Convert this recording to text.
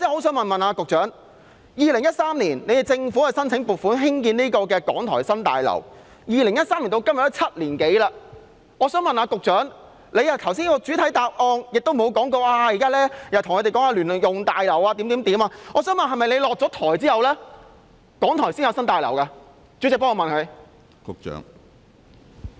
政府在2013年申請撥款興建港台新大樓，至今已經7年多，局長剛才的主體答覆並無提及如何興建聯用大樓，我想問是否要在局長下台後，港台才會有新大樓？